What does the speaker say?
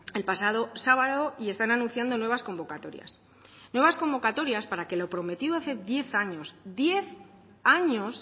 el pasado sábado y están anunciando nuevas convocatorias nuevas convocatorias para que lo prometido hace diez años diez años